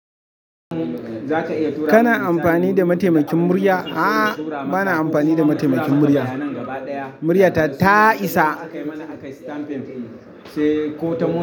Kana amfani da mataimakin murya? A'a bana amfani da mataimakin murya. Muryata ta isa.